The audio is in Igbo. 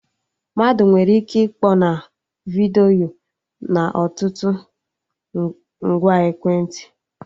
Mmadụ nwere ike ịkpọ na vidiyo na ọtụtụ ngwa ekwentị